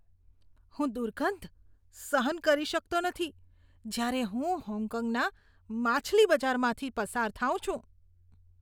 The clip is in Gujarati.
હું દુર્ગંધ સહન કરી શકતો નથી જ્યારે હું હોંગકોંગના માછલી બજારમાંથી પસાર થાઉં છું.